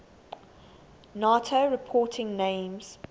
nato reporting names